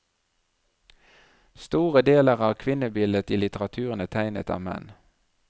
Store deler av kvinnebildet i litteraturen er tegnet av menn.